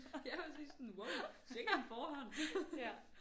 Ja præcis sådan wow sikke en forhånd